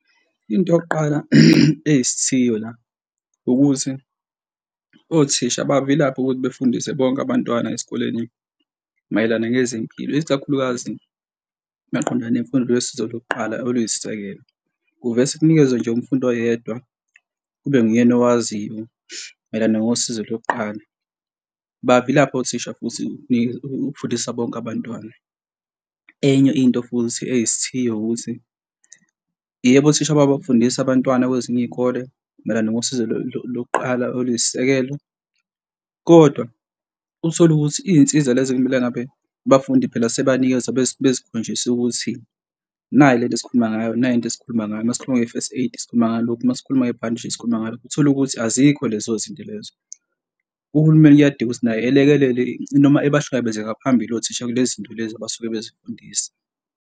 Into yokuqala eyisithiyo la ukuthi othisha bayavilapha ukuthi befundise bonke abantwana esikoleni mayelana ngezempilo, isikakhulukazi maqondana nemfundo le yosizo lokuqala oluyisisekelo. Kuvese kunikezwe nje umfundi oyedwa kube nguyena owaziyo mayelana nosizo lokuqala. Bayavilapha othisha futhi ukufundisa bonke abantwana. Enye into futhi eyisithiyo ukuthi, yebo, othisha bayabafundisa abantwana kwezinye iy'kole mayelana nosizo lokuqala oluyisisekelo, kodwa uthole ukuthi iy'nsiza lezi ekumele ngabe abafundi phela sebanikezwa bezikhonjiswe ukuthi nayi lento engikhuluma ngayo, nayi into esikhuluma ngayo masikhuluma nge-first aid, sikhuluma ngalokhu masikhuluma ngebhandishi sikhuluma ngalokhu, uthole ukuthi azikho lezo zinto lezo. Uhulumeni kuyadinga ukuthi naye elekelele noma ebahlangabeze ngaphambili othisha kulezi zinto lezi abasuke bezifundiswa.